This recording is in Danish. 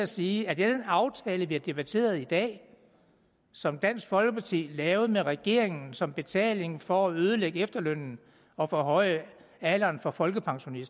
sige at i den aftale vi har debatteret i dag og som dansk folkeparti lavede med regeringen som betaling for at ødelægge efterlønnen og forhøje alderen for folkepension